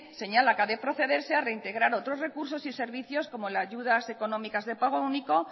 señala que a de procederse a reintegrar otros recursos y servicios como las ayudas económicas de pago único